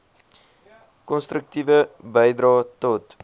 konstruktiewe bydrae tot